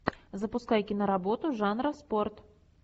запускай киноработу жанра спорт